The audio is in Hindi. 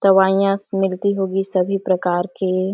दवाइयास मिलती होगी सभी प्रकार के--